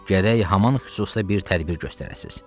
Gərək haman xüsusda bir tədbir göstərəsiz.